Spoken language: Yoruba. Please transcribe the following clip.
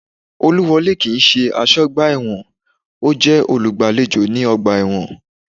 Olúwọlé kii ṣe aṣọ́ ọgbà ẹ̀wọ̀n, ọ́ jẹ́ olùgbàlejò ní ọgbà ẹ̀wọ̀n